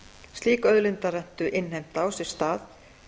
slík auðlindarentu innheimta á sér stað